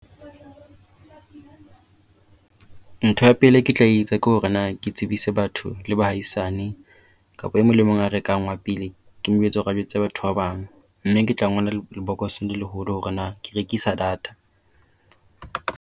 Ntho ya pele eo ke tla etsa ke hore na ke tsebise batho le bahaisane, kapa e mong le mong a rekang wa pele ke mo jwetse hore re jwetse batho ba bang. Mme ke tla ngola lebokosong le leholo hore na ke rekisa data.